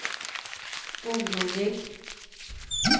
orolig